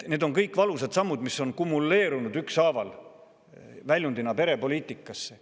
Need on kõik valusad sammud, mis on kumuleerunud ükshaaval väljundina perepoliitikasse.